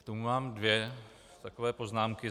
K tomu mám dvě takové poznámky.